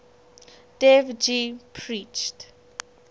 dev ji preached